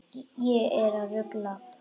Ég er að rugla.